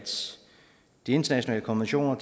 de internationale konventioner